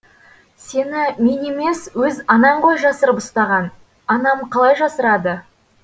сені мен емес өз анаң ғой жасырып ұстаған анам қалай жасырады